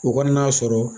U ka n'a sɔrɔ